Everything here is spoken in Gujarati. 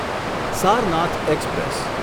સારનાથ એક્સપ્રેસ